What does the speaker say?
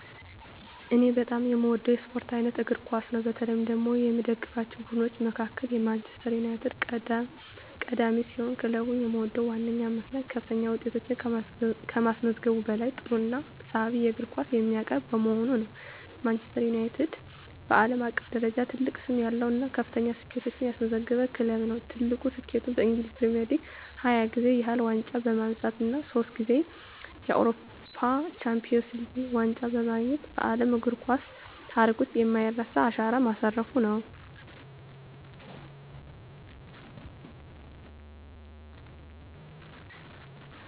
እኔ በጣም የምወደው የስፖርት አይነት እግር ኳስ ነው። በተለይ ደግሞ ከምደግፋቸው ቡድኖች መካከል ማንቸስተር ዩናይትድ ቀዳሚ ሲሆን፣ ክለቡን የምወድበት ዋነኛው ምክንያት ከፍተኛ ውጤቶችን ከማስመዝገቡም በላይ ጥሩና ሳቢ የእግር ኳስ የሚያቀርብ በመሆኑ ነው። ማንቸስተር ዩናይትድ (ማን ዩ) በዓለም አቀፍ ደረጃ ትልቅ ስም ያለው እና ከፍተኛ ስኬቶችን ያስመዘገበ ክለብ ነው። ትልቁ ስኬቱም በእንግሊዝ ፕሪሚየር ሊግ 20 ጊዜ ያህል ዋንጫ በማንሳት እና ሶስት ጊዜ የአውሮፓ ቻምፒየንስ ሊግ ዋንጫን በማግኘት በዓለም እግር ኳስ ታሪክ ውስጥ የማይረሳ አሻራ ማሳረፉ ነው።